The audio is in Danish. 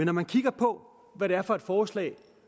når man kigger på hvad det er for forslag